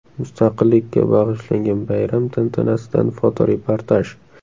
Mustaqillikka bag‘ishlangan bayram tantanasidan fotoreportaj.